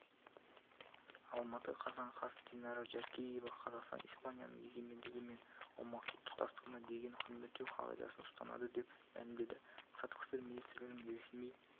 алматы қазан қаз динара жаркеева қазақстан испанияның егемендігі мен аумақтық тұтастығына деген құрметтеу қағидасын ұстанады деп мәлімдеді сыртқы істер министрлігінің ресми